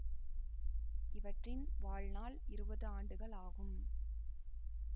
இவற்றின் வாழ்நாள் இருவது ஆண்டுகள் ஆகும்